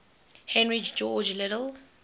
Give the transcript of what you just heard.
henry george liddell